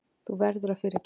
Þú verður að fyrirgefa.